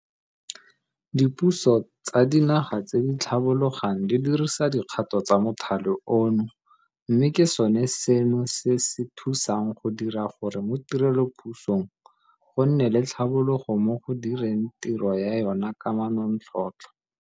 Dipuso tsa dinaga tse di tlhabologang di dirisa dikgato tsa mothale ono mme ke sone seno se se thusang go dira gore mo tirelopusong go nne le tlhabologo mo go direng tiro ya yona ka manontlhotlho.